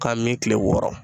K'an min kile wɔɔrɔ